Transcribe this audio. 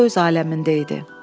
O öz aləmində idi.